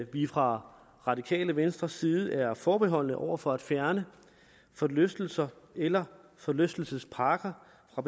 vi fra radikale venstres side er forbeholdne over for at fjerne forlystelser eller forlystelsesparker fra